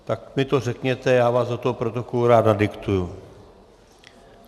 tak mi to řekněte, já vás do toho protokolu rád nadiktuji.